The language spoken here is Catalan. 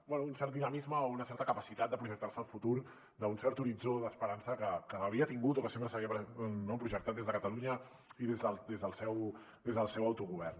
bé un cert dinamisme o una certa capacitat de projectar se al futur d’un cert horitzó d’esperança que havia tingut o que sempre s’havia projectat des de catalunya i des del seu autogovern